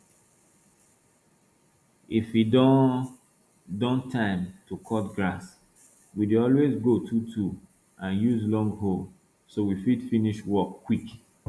if e don don time to cut grass we dey always go twotwo and use long hoe so we fit finish work quick